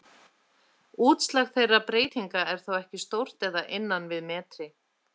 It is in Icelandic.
Útslag þeirra breytinga er þó ekki stórt eða innan við metri.